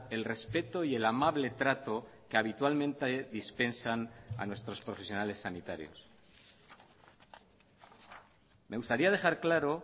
el respeto y el amable trato que habitualmente dispensan a nuestros profesionales sanitarios me gustaría dejar claro